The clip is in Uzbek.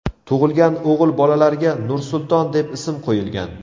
Tug‘ilgan o‘g‘il bolalarga Nursulton deb ism qo‘yilgan.